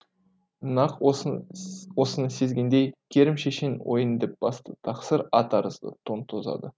нақ осыны сезгендей керім шешен ойын деп басты тақсыр ат арыды тон тозады